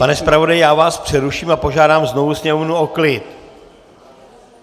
Pane zpravodaji, já vás přeruším a požádám znovu sněmovnu o klid!